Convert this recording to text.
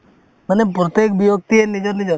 মানে প্ৰত্যেক ব্যক্তিয়ে নিজৰ নিজৰ